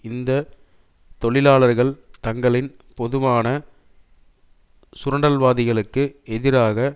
இந்த தொழிலாளர்கள் தங்களின் பொதுவான சுரண்டல்வாதிகளுக்கு எதிராக